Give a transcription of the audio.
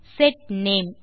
set name